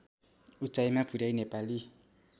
उचाइमा पुर्‍याई नेपाली